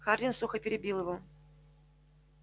хардин сухо перебил его